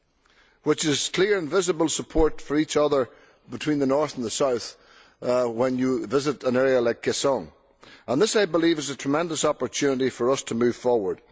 There is clear and visible support for each other between the north and the south when you visit an area like Kaesong This, I believe, is a tremendous opportunity for us to move forward.